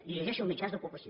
i li llegeixo mitjans d’ocupació